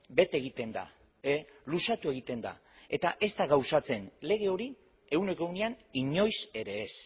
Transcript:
bete egiten da luzatu egiten da eta ez da gauzatzen lege hori ehuneko ehunean inoiz ere ez